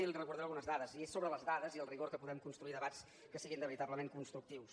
i li’n recordaré algunes dades i és sobre les dades i el rigor que podem construir debats que siguin veritablement constructius